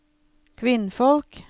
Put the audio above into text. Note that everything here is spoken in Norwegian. kvinnfolk